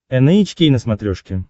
эн эйч кей на смотрешке